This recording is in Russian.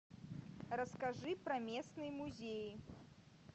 расскажи про местные музеи